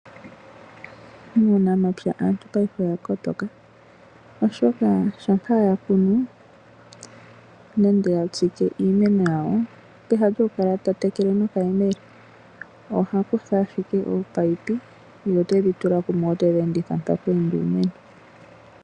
Muunamapya aantu paife oya kotoka, oshoka shampa ya kunu nenge ya tsike iimeno yawo, peha lyokukala ta tekele nokayemele oha kutha ashike ominino ye otedhi tula kumwe, ye otedhi enditha mpa pweenda iimeno.